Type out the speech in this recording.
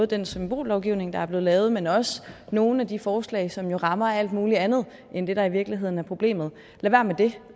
den symbollovgivning der er lavet men også nogle af de forslag som rammer alt muligt andet end det der i virkeligheden er problemet lad være med det